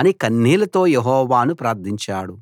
అని కన్నీళ్ళతో యెహోవాను ప్రార్థించాడు